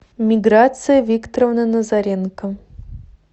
миграция викторовна назаренко